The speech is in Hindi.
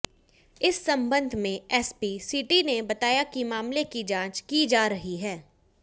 इस संबंध में एसपी सिटी ने बताया कि मामले की जांच की जा रही है